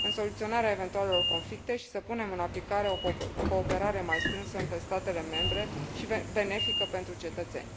în soluționarea eventualelor conflicte și să punem în aplicare o cooperare mai strânsă între statele membre și benefică pentru cetățeni.